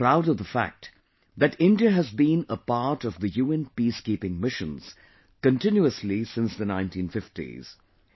We are proud of the fact that India has been a part of UN peacekeeping missions continuously since the 1950s